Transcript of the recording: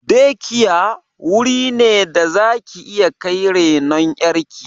"Day care" wuri ne da zaki iya kai renon ƴar ki